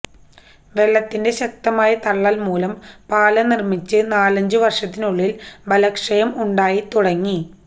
വെള്ളത്തിന്റെ ശക്തമായ തള്ളൽമൂലം പാലം നിർമിച്ച് നാലഞ്ചുവർഷത്തിനുള്ളിൽ ബലക്ഷയം ഉണ്ടായിത്തുടങ്ങി